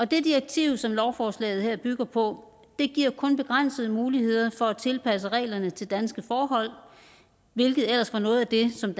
det direktiv som lovforslaget her bygger på giver kun begrænsede muligheder for at tilpasse reglerne til danske forhold hvilket ellers var noget af det som